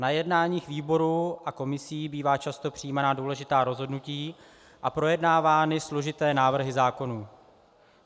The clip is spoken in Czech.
Na jednáních výborů a komisí bývají často přijímána důležitá rozhodnutí a projednávány složité návrhy zákonů.